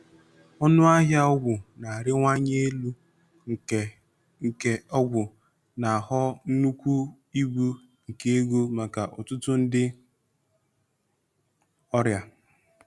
Ọnụ ahịa ọgwụ na-arịwanye elu nke nke ọgwụ na-aghọ nnukwu ibu nke ego maka ọtụtụ ndị ọrịa.